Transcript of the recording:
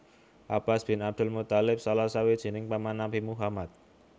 Abbas bin Abdul Muththalib Salah sawijining paman Nabi Muhammad